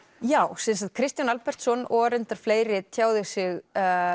já Kristján Albertsson og reyndar fleiri tjáðu sig